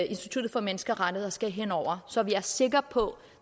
institut for menneskerettigheder skal ind over så vi er sikre på